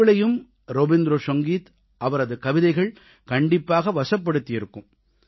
உங்களையும் ரவீந்திர சங்கீத் அவரது கவிதைகள் கண்டிப்பாக வசப்படுத்தியிருக்கும்